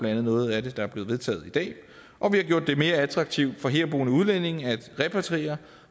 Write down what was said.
andet noget af det der er blevet vedtaget i dag og vi har gjort det mere attraktivt for herboende udlændinge at repatriere